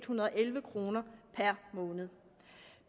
hundrede og elleve kroner per måned